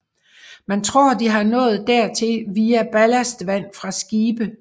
Man tror de har nået dertil via ballastvand fra skibe